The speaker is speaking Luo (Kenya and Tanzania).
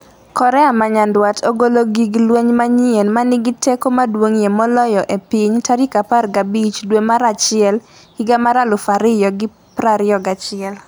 Korea ma Nyanduat ogolo gig lweny manyien 'ma nigi teko maduong'ie moloyo e piny' tarik 15 dwe mar achiel higa mar 2021